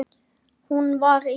Hún var í